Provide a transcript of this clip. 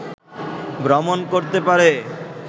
ভ্রমণ করতে পারে